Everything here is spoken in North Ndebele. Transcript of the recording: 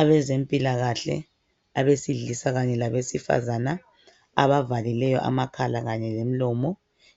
Abezempilakahle abesilisa kanye labesifazane abavalileyo amakhala lomlomo